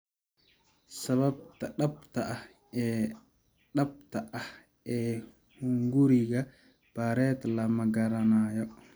Sababta dhabta ah ee dhabta ah ee hunguriga Barrett lama garanayo.